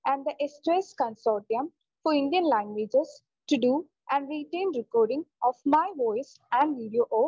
and the സ്‌2സ്‌ consortium for Indian languages to do and written recording of my voice and video of